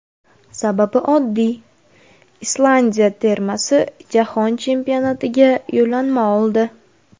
Sababi oddiy, Islandiya termasi Jahon Chempionatiga yo‘llanma oldi.